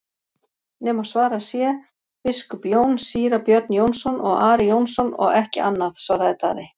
nema svarað sé:-Biskup Jón, Síra Björn Jónsson og Ari Jónsson og ekki annað, svaraði Daði.